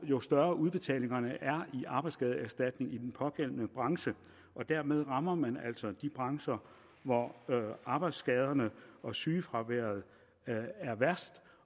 jo større udbetalingerne er i arbejdsskadeerstatning i den pågældende branche og dermed rammer man altså de brancher hvor arbejdsskaderne og sygefraværet er værst